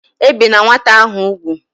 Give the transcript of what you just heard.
Ebina nwata ahu ugwu!